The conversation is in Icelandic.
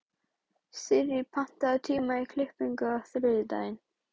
Sirrí, pantaðu tíma í klippingu á þriðjudaginn.